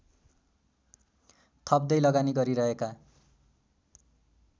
थप्दै लगानी गरिरहेका